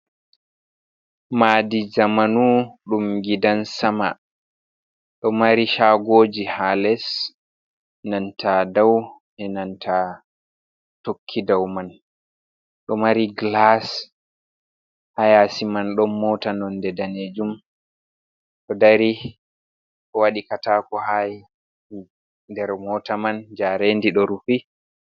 Maadi jamanu dum gidan sama, ɗo mari shagoji ha les nanta dau, e nanta tokki dau man. Ɗo mari glas hayasi man. Ɗon mota nonde danejum to dari wadi kataku ha der mota man; jarendi ɗo rufi.